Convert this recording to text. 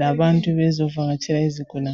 labantu abazovakatshela izigulane.